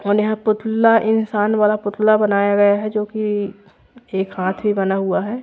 पुतला इंसान बड़ा पुतला बनाया गया है जो की एक हाती बना हुआ है।